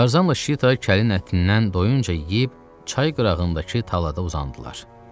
Tarzanla Şita kəlin ətindən doyunca yeyib, çay qırağındakı talada uzandılar.